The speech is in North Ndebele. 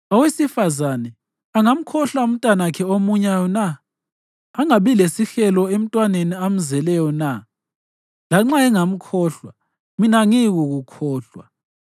“Owesifazane angamkhohlwa umntanakhe omunyayo na, angabi lesihelo emntwaneni amzeleyo na? Lanxa engamkhohlwa, mina angiyikukukhohlwa!”